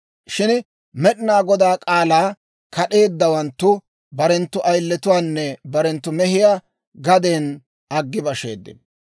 Shin Med'inaa Godaa k'aalaa kad'eeddawanttu barenttu ayiletuwaanne barenttu mehiyaa gaden aggi basheeddino.